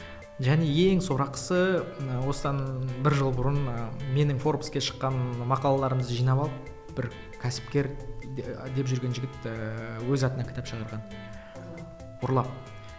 және ең сорақысы ы осыдан бір жыл бұрын ы менің форбске шыққан мақалаларымды жинап алып бір кәсіпкер деп жүрген жігіт ііі өз атынан кітап шығарған ұрлап